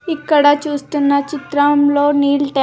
ఇక్కడ చూస్తున్న చిత్రంలో నీల్--